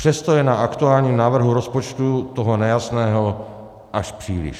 Přesto je na aktuálním návrhu rozpočtu toho nejasného až příliš.